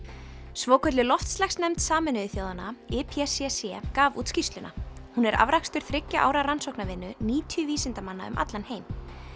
svokölluð loftslagsnefnd Sameinuðu þjóðanna gaf út skýrsluna hún er afrakstur þriggja ára rannsóknarvinnu níutíu vísindamanna um allan heim